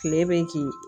Kile bɛ kin